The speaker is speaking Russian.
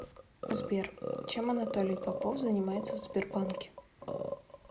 сбер чем анатолий попов занимается в сбербанке